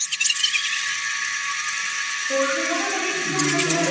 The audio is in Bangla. তো আমি মানে করি